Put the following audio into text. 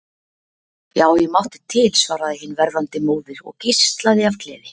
Já, ég mátti til, svaraði hin verðandi móðir og geislaði af gleði.